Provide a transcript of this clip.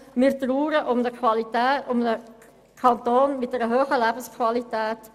Wir trauern um einen Kanton mit einer hohen Lebensqualität.